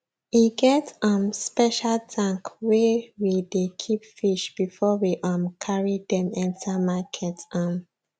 e get um special tank wey we dey keep fish before we um carry them enter market um